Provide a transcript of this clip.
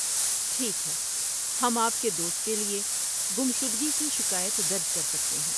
ٹھیک ہے، ہم آپ کے دوست کے لیے گمشدگی کی شکایت درج کر سکتے ہیں۔